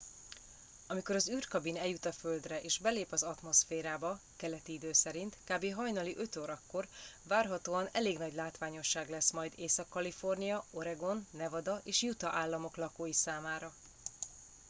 amikor az űrkabin eljut a földre és belép az atmoszférába keleti idő szerint kb. hajnali 5 órakor várhatóan elég nagy látványosság lesz majd észak-kalifornia oregon nevada és utah államok lakói számára